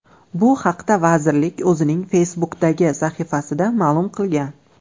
Bu haqda Vazirlik o‘zining Facebook’dagi sahifasida ma’lum qilgan .